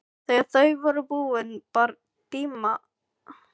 Þegar þau voru búin bar Tinna sólarvörn framan í sig.